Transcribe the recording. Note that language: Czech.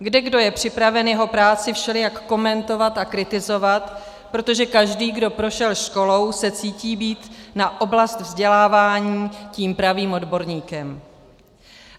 Kdekdo je připraven jeho práci všelijak komentovat a kritizovat, protože každý, kdo prošel školou, se cítí být na oblast vzdělávání tím pravým odborníkem.